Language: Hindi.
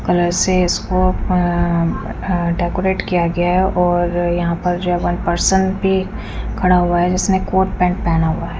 और ऐसे इसको डेकोरेट किआ गया है और यहाँ पर जो वन पर्सन भी खरा हुआ है जिसने कोट पैंट पहना हुआ है।